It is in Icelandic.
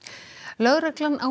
lögreglan á